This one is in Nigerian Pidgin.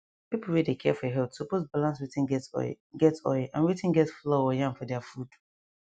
people wey dey care for health suppose balance wetin get oil get oil and wetin get flour or yam for their food